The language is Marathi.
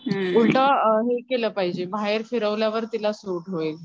उलट हे केलं पाहिजे बाहेर फिरवल्यावर तिला सूट होईल.